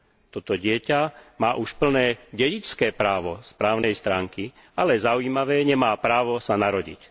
Toto dieťa má už plné dedičské právo z právnej stránky, ale zaujímavé, nemá právo sa narodiť.